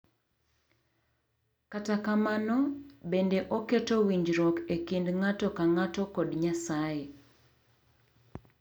Kata kamano, bende oketo winjruok e kind ng’ato ka ng’ato kod Nyasaye.